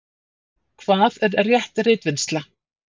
Hvað er rétt ritvinnsla?